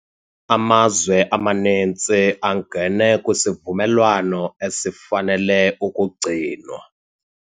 Amazwe amaninzi angene kwisivumelwano esifanele ukugcinwa.